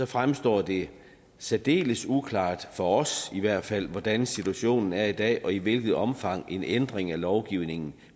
fremstår det særdeles uklart for os i hvert fald hvordan situationen er i dag og i hvilket omfang en ændring af lovgivningen